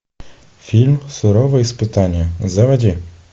фильм суровые испытания заводи